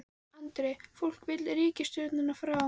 Andri: Fólk vill ríkisstjórnina frá?